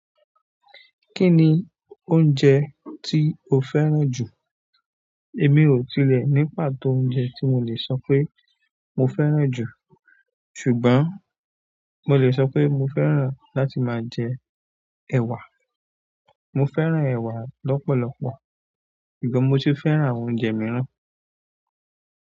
Kí ni oúnjẹ tí o fẹ́ràn jù? Èmi ò tilẹ̀ ní pàtó oúnjẹ tí mo lè sọ pé mo fẹ́ràn jù. Ṣùgbọ́n, mo lè sọ pé mo fẹ́ràn láti máa jẹ ẹ̀wà. Mo fẹ́ràn èwà lọ́pọ̀lọ́pọ̀, ṣùgbọ́n mo sì fẹ́ràn àwọn oúnjẹ mìíràn.